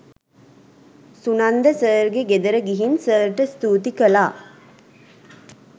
සුනන්ද සර්ගේ ගෙදර ගිහින් සර්ට ස්තූති කළා.